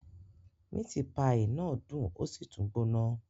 Miti paii náà dun osi tun gbona